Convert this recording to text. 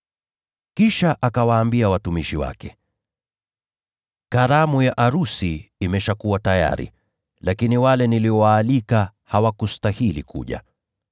“Kisha akawaambia watumishi wake, ‘Karamu ya arusi imeshakuwa tayari, lakini wale niliowaalika hawakustahili kuja.